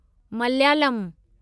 Malayalam